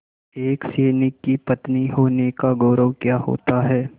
एक सैनिक की पत्नी होने का गौरव क्या होता है